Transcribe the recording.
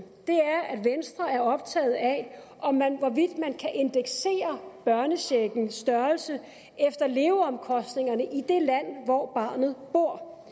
er er optaget af om man kan indeksere børnecheckens størrelse efter leveomkostningerne i det land hvor barnet bor